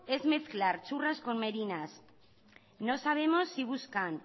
es mezclar churras con merinas no sabemos si buscan